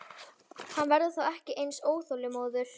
Hann verður þá ekki eins óþolinmóður.